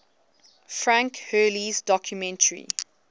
frank hurley's documentary